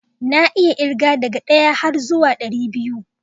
Na iya irge daga ɗaya har zuwan ɗaribiyu